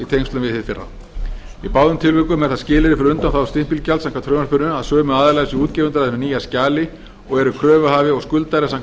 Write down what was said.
tengslum við hið fyrra í báðum tilvikum er það skilyrði fyrir undanþágu stimpilgjalds samkvæmt frumvarpinu að sömu aðilar séu útgefendur að hinu nýja skjali og eru kröfuhafi og skuldari samkvæmt